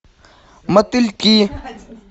мотыльки